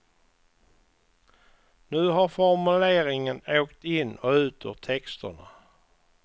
Nu har formuleringen åkt in och ut ur texterna.